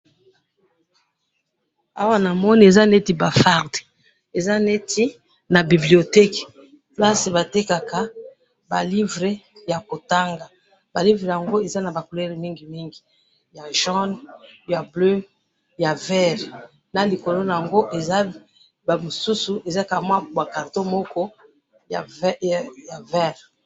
awa namoni eza neti ba farde eza neti na biblioteque place batekaka ba livre ya kotanga ba livre yango eza naba couleur ebele ba rouge ba jaune ba vert na likolo nayango koza mosusu ya vert.